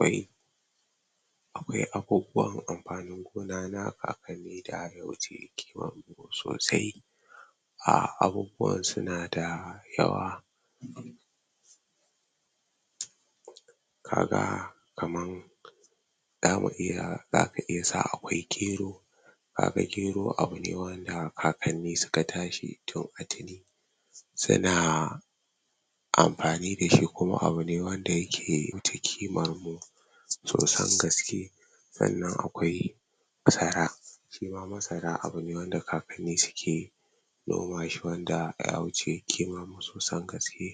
um akwai abubuwan anfani gona kakanni daya wuce kimamu sosai abubuwan sunada yawa kaga kaman zamu iya zaka iya sa akwai gero kaga gero abune wanda kakanni suka tashi tun a tuni suna anfani dashi kuma abune wanda yake takimamu sosan gaske Sannan akwai masara shima masara abune wanda kakanni suke suke nomashi wanda yawuce kimamu sosai gaski